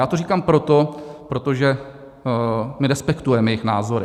Já to říkám proto, protože my respektujeme jejich názory.